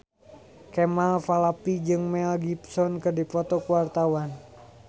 Kemal Palevi jeung Mel Gibson keur dipoto ku wartawan